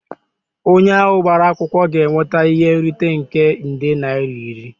Onye ahụ gbara akwụkwọ ga-enweta ihe nrite nke nde naira iri